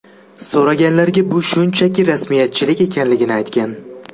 So‘raganlarga bu shunchaki rasmiyatchilik ekanligini aytgan.